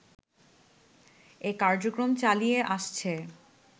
এ কার্যক্রম চালিয়ে আসছে